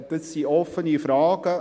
» Dies sind offene Fragen.